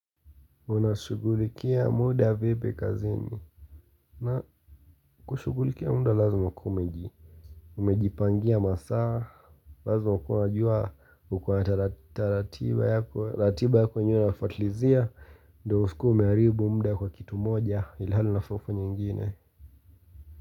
Mna shugulikia muda vipi kazini na kushugulikia muda lazima ukue umeji Umejipangia masaa, Lazima ukue unajua ukona ratiba yako na unafuatilizia ndo usikue umeharibu muda kwa kitu moja ilahali unafaa kufanya nyingine.